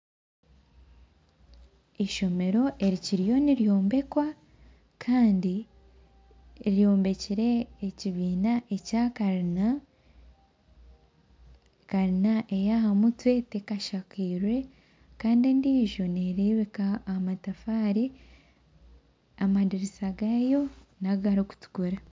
Eishomero eri kiriyo niryombekwa Kandi eyombekire ekibiina ekya kalina kalina eyahamutwe tekashakirwe Kandi endiijo neerebeka aha matafaari amadirisa gaayo nagarikutukura